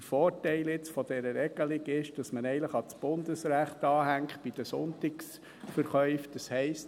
Der Vorteil dieser Regelung ist, dass man bei den Sonntagsverkäufen ans Bundesrecht anknüpft, das heisst: